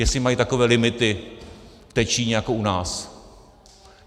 Jestli mají takové limity v té Číně jako u nás.